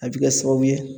A bɛ kɛ sababu ye